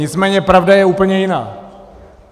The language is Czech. Nicméně pravda je úplně jiná.